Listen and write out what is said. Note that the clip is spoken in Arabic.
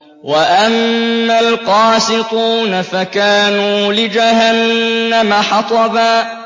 وَأَمَّا الْقَاسِطُونَ فَكَانُوا لِجَهَنَّمَ حَطَبًا